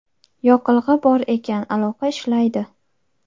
Yoqilg‘i bor ekan, aloqa ishlaydi.